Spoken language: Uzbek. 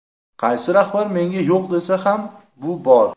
Qaysidir rahbar menga yo‘q desa ham, bu bor.